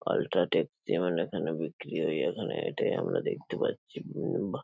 ultra take যেমন এখানে বিক্রি হয় এখানে এটাই আমরা দেখতে পাচ্ছি